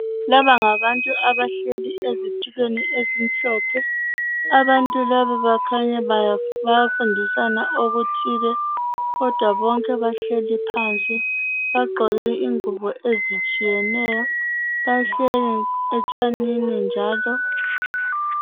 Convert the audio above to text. Laba ngabantu abahleli ezitulweni ezimhlophe, abantu laba kukhanya bayafundisana okuthile kodwa bonke bahleli phansi bagqoke ingubo ezitshiyeneyo bahleli etshanini njalo.